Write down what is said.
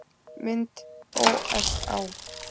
Mynd ÓSÁ.